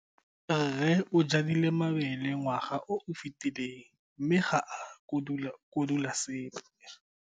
Rre o jadile mabele ngwaga o o fetileng mme ga a kotula sepe.